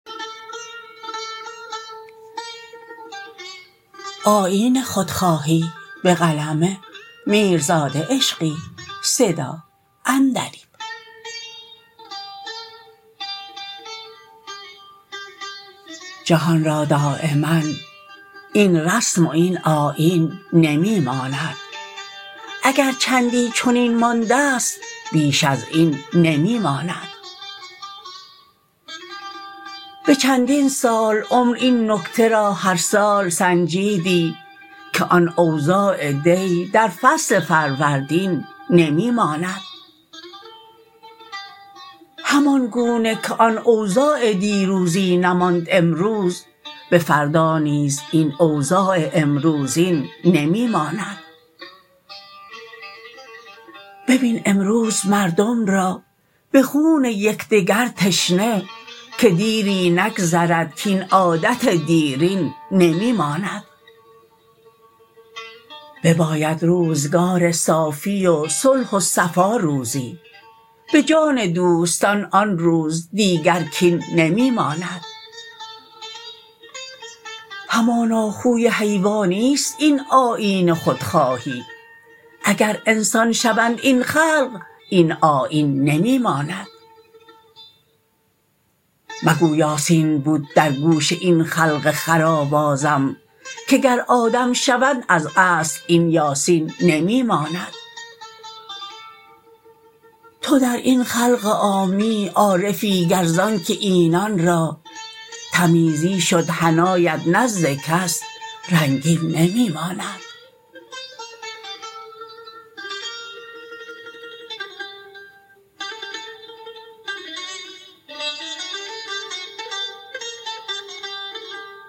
جهان را دایما این رسم و این آیین نمی ماند اگر چندی چنین ماندست بیش از این نمی ماند به چندین سال عمر این نکته را هر سال سنجیدی که آن اوضاع دی در فصل فروردین نمی ماند همان گونه که آن اوضاع دیروزی نماند امروز به فردا نیز این اوضاع امروزین نمی ماند ببین امروز مردم را به خون یکدگر تشنه که دیری نگذرد کاین عادت دیرین نمی ماند بباید روزگار صافی و صلح و صفا روزی به جان دوستان آن روز دیگر کین نمی ماند همانا خوی حیوانی ست این آیین خودخواهی اگر انسان شوند این خلق این آیین نمی ماند مگو یاسین بود در گوش این خلق خر آوازم که گر آدم شوند از اصل این یاسین نمی ماند تو در این خلق عامی عارفی گر زانکه اینان را تمیزی شد حنایت نزد کس رنگین نمی ماند